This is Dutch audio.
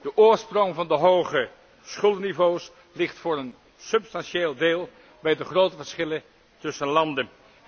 De oorsprong van de hoge schuldenniveaus ligt voor een substantieel deel bij de grote verschillen tussen landen.